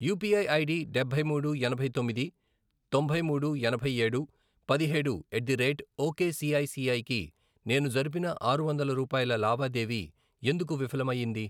UPI ID డబ్బై మూడు, ఎనభై తొమ్మిది, తొంభై మూడు, ఎనభై ఏడు, పదిహేడు, ఎట్ ది రేట్ ఒకేసిఐసిఐ కి నేను జరిపిన ఆరు వందలు రూపాయల లావాదేవీ ఎందుకు విఫలం అయ్యింది?